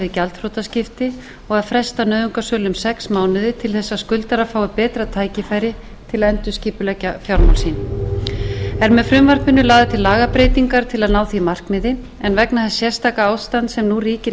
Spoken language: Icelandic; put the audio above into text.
við gjaldþrotaskipti og að fresta nauðungarsölu um sex mánuði til þess að skuldarar fái betra tækifæri til að endurskipuleggja fjármál sín en með frumvarpinu eru lagðar til lagabreytingar til að ná því markmiði en vegna hins sérstaka ástands sem nú ríkir í